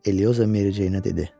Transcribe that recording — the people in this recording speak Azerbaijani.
Elioza Mericeynə dedi.